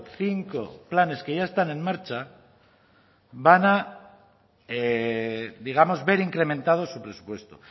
cinco planes que ya están en marcha van a digamos ver incrementado su presupuesto